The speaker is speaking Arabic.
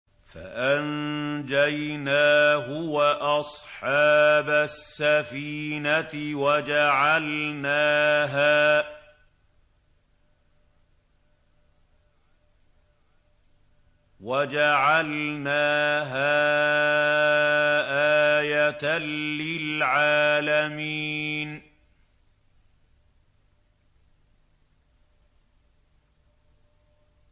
فَأَنجَيْنَاهُ وَأَصْحَابَ السَّفِينَةِ وَجَعَلْنَاهَا آيَةً لِّلْعَالَمِينَ